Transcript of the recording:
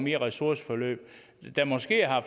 i ressourceforløb